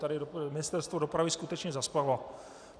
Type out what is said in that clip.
Tady Ministerstvo dopravy skutečně zaspalo.